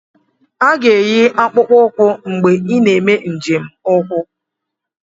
A ga-eyi akpụkpọ ụkwụ mgbe ị na-eme njem ukwu.